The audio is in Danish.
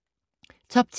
Top 10